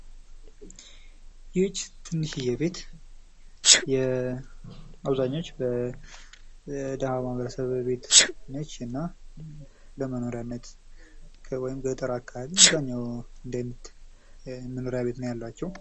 ይህች ትንሽዬ ቤት አብዛኞች የደሀው ማህበረሰብ ቤት ነች። እናም ለመኖሪያነት ወይም አብዛኛው ገጠር አካባቢ ነው እንዲህ አይነት መኖሪያ ቤት ቤት ነው ያሏቸው።